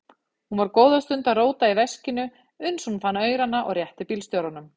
Hún var góða stund að róta í veskinu uns hún fann aurana og rétti bílstjóranum.